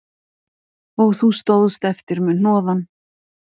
Og þú stóðst eftir með hnoðann